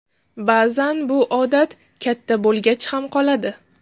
Ba’zan bu odat katta bo‘lgach ham qoladi.